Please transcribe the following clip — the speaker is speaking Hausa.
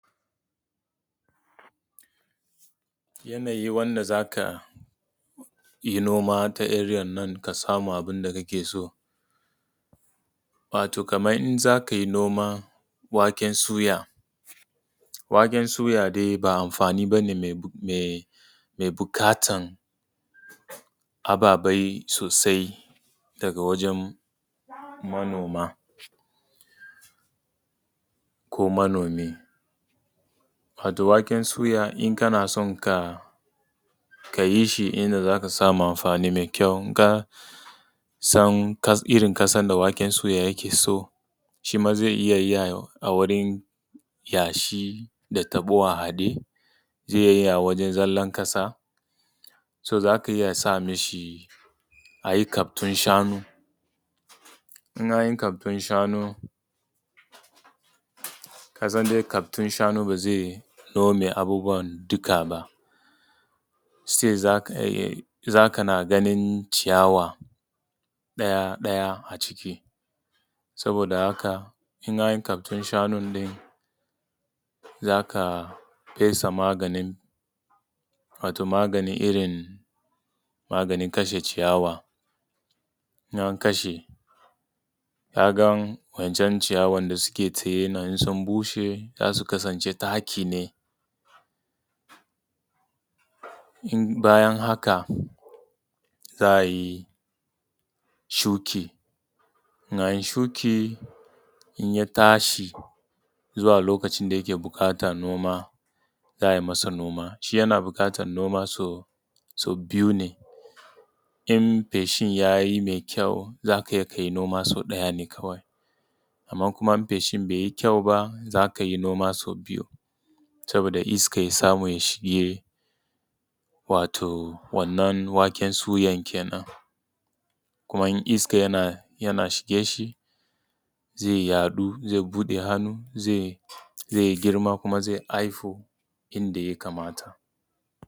Yanayi wanda za ka yi noma ta area nan ka samu abun da kake so, wato kaman in za ka yi noma waken suya, waken suya dai ba amfani bane dai mai buƙatan ababai sosai daga wajan manoma, ko manomi. Wato waken suya in kana so kayi shi inda za ka samu amfani mai kyau ka san irin ƙasan da waken suya yake so, shi ma zai iya yi a wurin yashi, da taɓo a haɗe, zai yi a wajan zallan ƙasa, so za ka iya sa mishi a yi kaftun shanu, in an yi kaftun shanu, ƙasan dai kaftun shanu ba zai nome abubuwa duka ba, still za ka na ganin ciyawa ɗaya ɗaya a ciki saboda haka, in an yi kaftun shanun ne, za ka fesa maganin wato maganin irin maganin kashe ciyawa, in an kashe ka ga wa’incan ciyawan da suke ta yanayi sun bushe za su kasance taki ne in bayan haka, za a yi shuki, in an yi shuki in ya tashi zuwa lokacin da yake buƙatar noma, za a masa noma. Shi yana buƙatan noma sau biyu ne in feshin yayi mai kyau za kai noma sau ɗaya ne kawai. Amman kuma in feshin bai yi kyau ba za kai noma sau biyu sabida iska ya samu ya shiga wato wannan waken suya kenan. Kuma in iska yana shige shi zai yaɗu, zai buɗe hannu, zai girma, kuma zai haihu inda ya kamata.